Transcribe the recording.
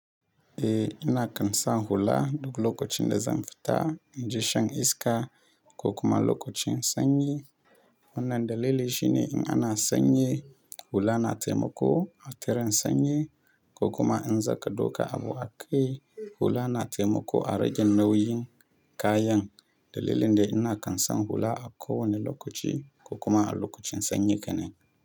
Eh, ina kansa hula duk lokacinda zan fita, inje shan iska ko kuma lokacin sanyi. Wannan dalili shine in ana sanyi hula na taimako a tsira sanyi ko kuma in zaka doka abu a kai hula na taimako a rage nauyin kayan. Dalilin da ina kansa hula a kowane lokaci ko kuma a lokacin sanyi kenan.